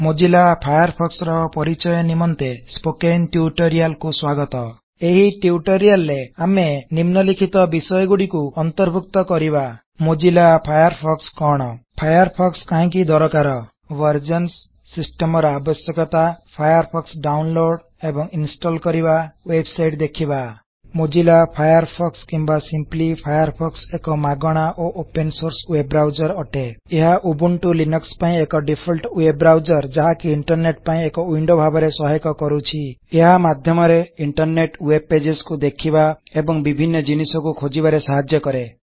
Mozilla Firefox ର ପରିଚୟ ନିମନ୍ତେ ସ୍ପୋକେନ୍ ଟ୍ୟୁଟୋରିଆଲକୁ ଆପଣକୁଂ ସ୍ବାଗତ ଏହି ଟ୍ୟୁଟୋରିଆଲ ରେ ଆମେ ନିମ୍ନଲିଖିତ ବିଷୟଗୁଡ଼ିକୁ ଅନ୍ତର୍ଭୁକ୍ତ କରିବା ମୋଜ଼ିଲ୍ଲା ଫାୟାରଫୋକ୍ସ କଣ ଫାୟାରଫୋକ୍ସ କାହିଁକି ଦରକାର ବେରଜନ୍ ସିଷ୍ଟମର ଆବଶ୍ୟକତା ଫାୟାରଫୋକ୍ସ ଡାଉନଲୋଡ ଏବଂ ଇନ୍ଷ୍ଟଲ କରିବା ୱେବସାଇଟ୍ ଦେଖିବା ମୋଜ଼ିଲ୍ଲା ଫାୟାରଫୋକ୍ସ କିମ୍ବା ସିମ୍ପଲି ଫାୟାରଫକ୍ସ ଏକ ମାଗଣା ଓ ଓପେନ ସୋର୍ସ ୱେବ୍ ବ୍ରାଉଜର୍ ଅଟେ ଏହା ଉବୁଣ୍ଟୁ ଲିନକ୍ସ ପାଇଁ ଏକ ଡିଫଲ୍ଟ ୱେବ୍ ବ୍ରାଉଜର୍ ଯାହାକି ଇଣ୍ଟରନେଟ୍ ପାଇଁ ଏକ ୱିନଡୋ ଭାବରେ ସହାୟକ କରୁଛି ଏହା ମାଧ୍ୟମରେ ଇଣ୍ଟରନେଟ୍ ୱେବ୍ ପେଜସ୍ କୁ ଦେଖିବା ଏବଂ ବିଭିନ୍ନ ଜିନିଷକୁ ଖୋଜିବାର ସାହାଯ୍ୟ କରେ